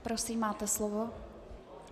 Prosím, máte slovo.